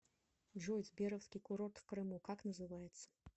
джой сберовский курорт в крыму как называется